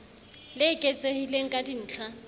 le eketsehileng ka dintl ha